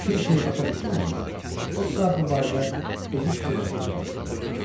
Bir şeyi başa düşməyəndə, o saat bu barədə özü fikirləşməyə başlayırdı.